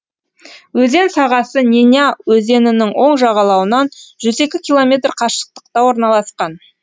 өзен сағасы неня өзенінің оң жағалауынан жүз екі километр қашықтықта орналасқан